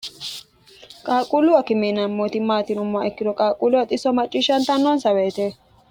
qaaqquullu akime maati yineemmo ikkiro qaaquullu xisso macciishshantannoonsa woyte